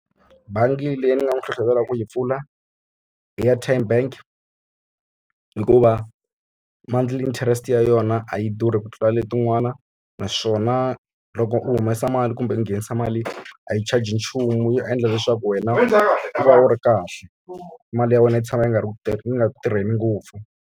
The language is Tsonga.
Bangi leyi ni nga n'wi hlohlotela ku yi pfula, i ya Tyme Bank hikuva monthly interest yona a yi durhi ku tlula letin'wana. Naswona loko u humesa mali kumbe u nghenisa mali a yi charge-i nchumu, ya endla leswaku wena u va u ri kahle. Mali ya wena yi tshama yi nga ri ku yi nga ku tirheni ngopfu.